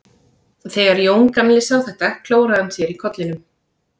Þegar Jón gamli sá þetta klóraði hann sér í kollinum.